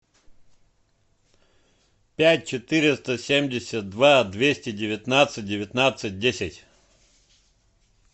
пять четыреста семьдесят два двести девятнадцать девятнадцать десять